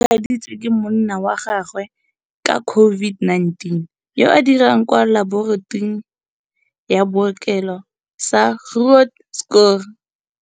Mohammed o tshwaeditswe ke monna wa gagwe ka COVID-19, yo a dirang kwa laboratoring ya bookelo sa Groote Schuur.